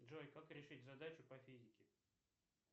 джой как решить задачу по физике